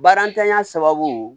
Barantanya sababu